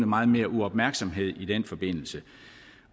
meget mere uopmærksomhed i den forbindelse